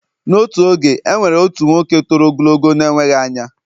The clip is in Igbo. N’otu oge, e nwere otu nwoke toro ogologo na-enweghị anya